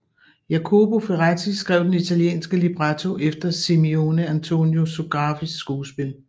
Jacopo Ferretti skrev den italienske libretto efter Simeone Antonio Sografis skuespil